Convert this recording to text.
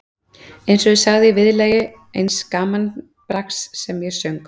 En eins og ég sagði í viðlagi eins gamanbrags sem ég söng